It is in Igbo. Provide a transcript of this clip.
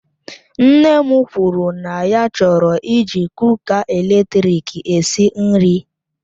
Nne m kwuru na ya chọrọ iji kuka eletrik esi nri